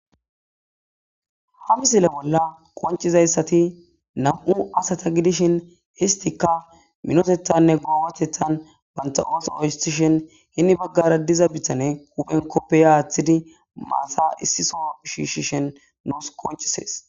Ha misile bolla qoncizayssati nam'u asata gidishin histika minotethanne goobatethan banta'oosa owustishen hinni baggara diza bitane huphen koppeya aaththidi maasa issiso shishishen nus qoncisees.